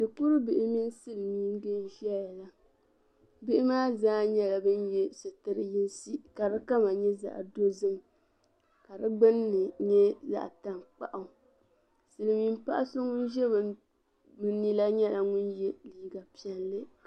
Shikuribihi mini silimiiŋga n-zaya la. Bihi maa zaa nyɛla ban ye sitir' yinsi ka di kama nyɛ zaɣ' dozim ka di gbunni nyɛ zaɣ' taŋkpaɣu. Silimiim paɣa so ŋun za bɛ ni la nyɛla ŋun ye liiga piɛlli.